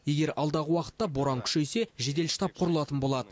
егер алдағы уақытта боран күшейсе жедел штаб құрылатын болады